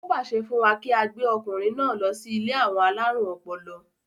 ó pàṣẹ fún wa kí á gbé ọkùnrin náà lọ sí ilé àwọn alárùn ọpọlọ